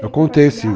Eu contei, sim.